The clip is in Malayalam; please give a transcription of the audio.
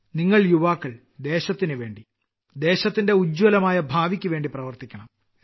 നിങ്ങൾ യുവാക്കൾ ദേശത്തിനുവേണ്ടി ദേശത്തിന്റെ ഉജ്ജ്വലമായ ഭാവിയ്ക്കു വേണ്ടി പ്രവർത്തിക്കണം